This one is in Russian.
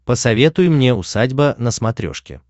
посоветуй мне усадьба на смотрешке